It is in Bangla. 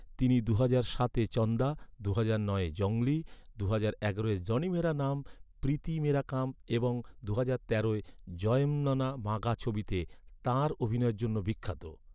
তিনি দুহাজার সাতে চন্দা, দুহাজার নয়ে জঙ্গলি, দুহাজার এগারোয় জনি মেরা নাম প্রীতি মেরা কাম এবং দুহাজার তেরোতে জয়ম্মনা মাগা ছবিতে তাঁর অভিনয়ের জন্য বিখ্যাত।